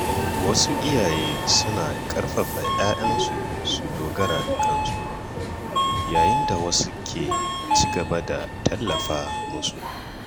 Wasu iyaye suna ƙarfafa ‘ya’yansu su dogara da kansu, yayin da wasu ke ci gaba da tallafa musu.